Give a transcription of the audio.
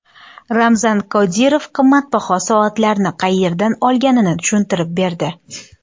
Ramzan Qodirov qimmatbaho soatlarni qayerdan olganini tushuntirib berdi.